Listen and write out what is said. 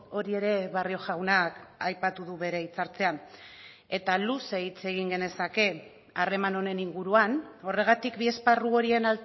hori ere barrio jaunak aipatu du bere hitzartzean eta luze hitz egin genezake harreman honen inguruan horregatik bi esparru horien